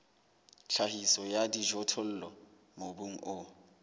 tlhahiso ya dijothollo mobung o